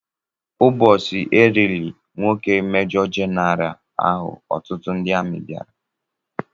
Ụbọchị e liri nwoke majọ jenaraal ahụ ọtụtụ ndị amị bịara